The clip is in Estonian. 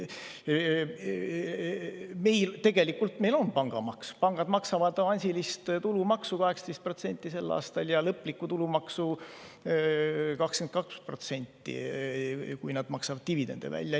Meil tegelikult on pangamaks, pangad maksavad avansilist tulumaksu sel aastal 18% ja lõplikku tulumaksu 22%, kui nad maksavad dividende välja.